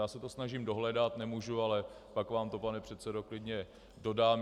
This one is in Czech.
Já se to snažím dohledat, nemůžu, ale pak vám to, pane předsedo, klidně dodám.